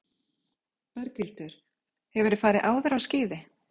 Berghildur: Hefurðu farið áður á skíði?